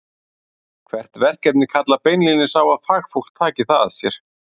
Hvert verkefni kallar beinlínis á að fagfólk taki það að sér.